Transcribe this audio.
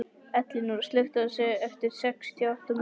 Elinóra, slökktu á þessu eftir sextíu og átta mínútur.